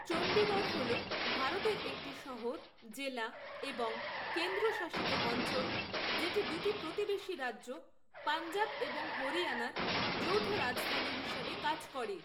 চণ্ডীগড় হল ভারতের একটি শহর, জেলা এবং কেন্দ্রশাসিত অঞ্চল যেটি দুটি প্রতিবেশী রাজ্য পাঞ্জাব এবং হরিয়ানার যৌথ রাজধানী হিসাবে কাজ করে।